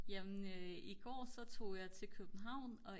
jamen i går så tog jeg til København og